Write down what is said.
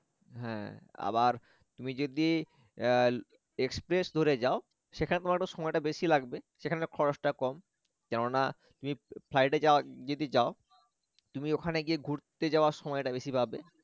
হ্যা আবার তুমি যদি এর express ধরে যাও সেখানে তোমার একটু সময়টা বেশি লাগবে সেখানে খরচটা কম কেননা তুমি flight এ যা~যদি যাও তুমি ওখানে গিয়ে ঘুরতে যাওয়ার সময়টা বেশি পাবে